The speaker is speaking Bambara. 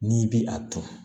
N'i bi a turu